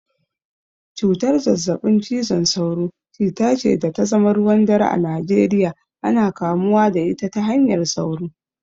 Cutar zazzabin cizon sauro, cuta ce da ta zama ruwan dare a Najeriya, ana kamuwa da ita ta hanyar sauro